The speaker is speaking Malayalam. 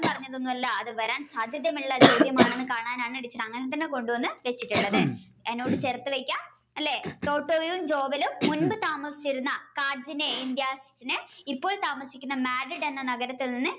പറഞ്ഞത് ഒന്നും അല്ല അത് വരാൻ സാധ്യതയുള്ള ചോദ്യമാണ് എന്ന് കാണാനാണ് ടീച്ചർ അങ്ങനെ തന്നെ കൊണ്ടുവന്ന് എന്നോട് അല്ലെ ടോട്ടോയും ജോവലും മുൻപ് താമസിച്ചിരുന്ന കാഞ്ചന ഇൻഡിയാസ് ഇപ്പോൾ താമസിക്കുന്നത് Madrid എന്ന നഗരത്തിൽ നിന്ന്